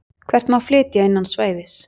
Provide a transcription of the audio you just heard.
Hvert má flytja innan svæðis.